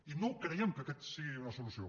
i no creiem que aquesta sigui una solució